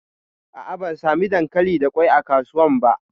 A'a, ban sami dankali da kwai a kasuwan ba.